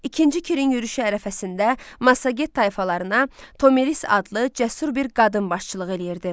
İkinci Kirin yürüşü ərəfəsində Massaget tayfalarına Tomiris adlı cəsur bir qadın başçılıq eləyirdi.